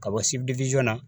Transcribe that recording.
Ka bɔ na